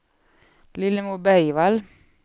Lillemor Bergvall